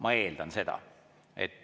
Ma eeldan seda.